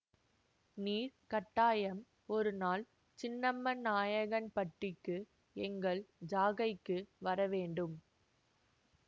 நீர் கட்டாயம் ஒரு நாள் சின்னமநாயக்கன்பட்டிக்கு எங்கள் ஜாகைக்கு வர வேண்டும்